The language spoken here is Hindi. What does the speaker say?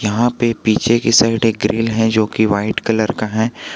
वहां पे पीछे की साइड एक ग्रिल है जो की वाइट कलर का है।